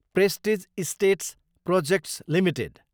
prestige Estates Projects Ltd